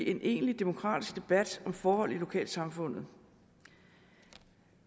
en egentlig demokratisk debat om forhold i lokalsamfundet